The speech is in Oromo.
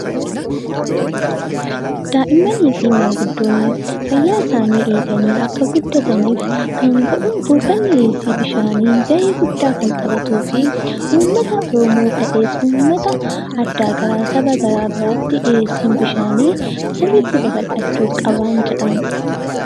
Daa'immanii fi maanguddoon fayyaa isaanii eeganii akka guddataniif dhiyeessiin bishaanii gahee guddaa kan taphatuu fi dhiyeessiin bishaanii saboota garaagaraa biratti sirriitti babal'achuu qaban jedha.